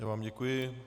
Já vám děkuji.